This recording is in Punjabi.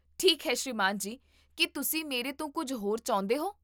ਠੀਕ ਹੈ ਸ੍ਰੀਮਾਨ ਜੀ, ਕੀ ਤੁਸੀਂ ਮੇਰੇ ਤੋਂ ਕੁੱਝ ਹੋਰ ਚਾਹੁੰਦੇ ਹੋ?